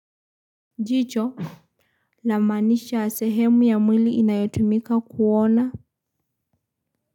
Jicho lamaanisha sehemu ya mwili inayotumika kuona.